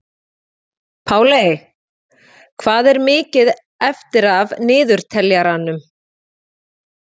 Páley, hvað er mikið eftir af niðurteljaranum?